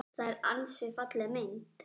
Afl mitt er senn þrotið.